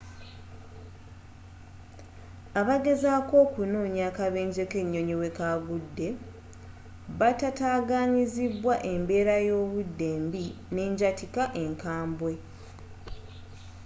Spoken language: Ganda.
abageezako okunoonya akabenje kenyonyi wekagude batataganyizibwa embeera yobudde embi n'enjatika enkabwe